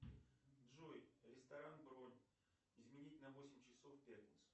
джой ресторан бронь изменить на восемь часов в пятницу